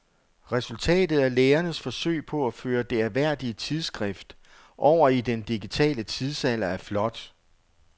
Resultatet af lægernes forsøg på at føre det ærværdige tidsskrift over i den digitale tidsalder er flot.